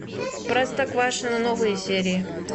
простоквашино новые серии